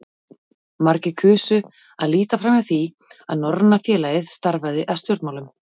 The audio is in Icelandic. Margir kusu að líta framhjá því, að Norræna félagið starfaði að stjórnmálum.